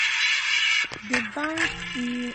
d bank